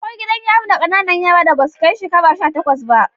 Akwai gidan yari na ƙanana yaran da basu kai shekaru sha takwas ba